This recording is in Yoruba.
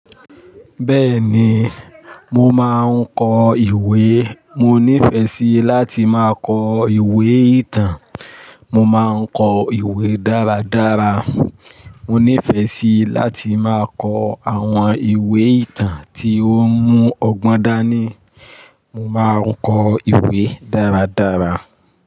Bẹ́ẹ̀ni, mo máa ń kọ ìwé. Mo nífẹ̀ẹ́ sí láti máa kọ ìwé ìtàn. Mo máa ń kọ ìwé dáradára. Mo nífẹ̀ẹ́ sí láti máa kọ àwọn ìwé ìtàn tí ó mú ọgbọ́n dání. Mo máa ń kọ ìwé dáradára.